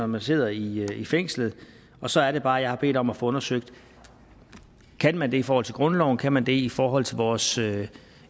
man sidder i i fængslet og så er det bare at jeg har bedt om at få undersøgt kan man det i forhold til grundloven kan man det i forhold til vores